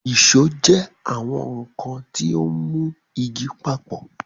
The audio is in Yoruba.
Ìṣó jẹ́ àwọn nkan tí ó ń mú igi papọ̀.